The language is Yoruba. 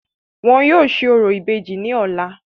Wọn yóò ṣe orò ìbejì ní ọ̀la.